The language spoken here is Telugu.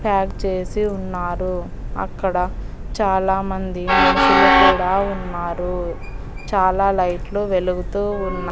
ప్యాక్ చేసి ఉన్నారు అక్కడ చాలా మంది మనుషులు కూడా ఉన్నారు చాలా లైట్లు వెలుగుతూ ఉన్నాయి.